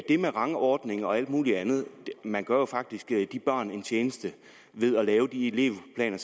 det med rangordningen og alt muligt andet sige at man jo faktisk gør de børn en tjeneste ved at lave de elevplaner